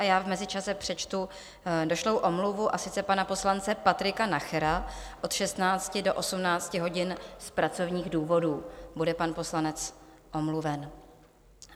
A já v mezičase přečtu došlou omluvu, a sice pana poslance Patrika Nachera, od 16 do 18 hodin z pracovních důvodů bude pan poslanec omluven.